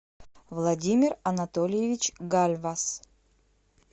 владимир анатольевич гальвас